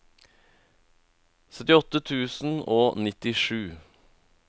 syttiåtte tusen og nittisju